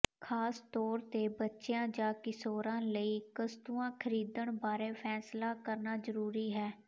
ਖਾਸ ਤੌਰ ਤੇ ਬੱਚਿਆਂ ਜਾਂ ਕਿਸ਼ੋਰਾਂ ਲਈ ਕਸਤੂਆ ਖਰੀਦਣ ਬਾਰੇ ਫੈਸਲਾ ਕਰਨਾ ਜ਼ਰੂਰੀ ਹੈ